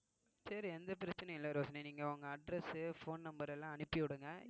சரி எந்த பிரச்சனையும் இல்லை ரோஷிணி நீங்க உங்க address உ phone number லாம் அனுப்பி விடுங்க